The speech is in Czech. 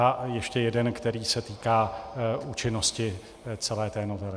A ještě jeden, který se týká účinnosti celé té novely.